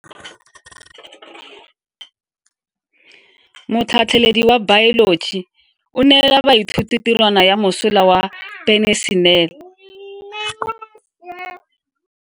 Motlhatlhaledi wa baeloji o neela baithuti tirwana ya mosola wa peniselene.